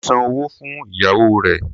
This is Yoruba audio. Mo san owó fún ìyàwó rẹ̀.